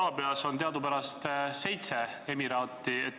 Araabias on teadupärast seitse emiraati.